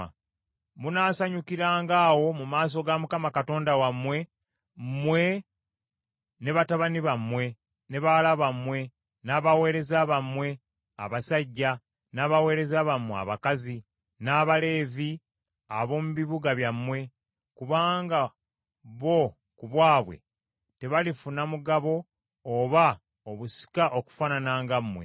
Munaasanyukiranga awo mu maaso ga Mukama Katonda wammwe, mmwe, ne batabani bammwe, ne bawala bammwe, n’abaweereza bammwe abasajja, n’abaweereza bammwe abakazi, n’Abaleevi ab’omu bibuga byammwe, kubanga bo ku bwabwe tebalifuna mugabo oba obusika okufaanana nga mmwe.